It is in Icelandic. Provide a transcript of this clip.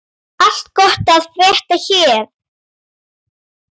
Allt gott að frétta hér.